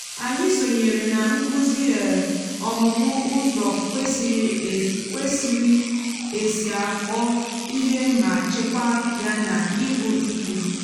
anyị sònyèèrè nà nkuzi um ọmùmù uzọ kwesịrị esi akọ íhe ma chekwáá ya na um íhụ ígwe